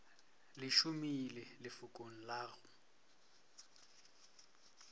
le šomiše lefokong la go